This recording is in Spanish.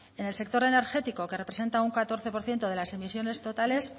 en el sector energético que representa un catorce por ciento de las emisiones totales